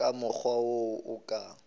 ka mokgwa wo a ka